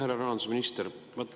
Härra rahandusminister!